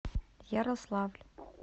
ярославль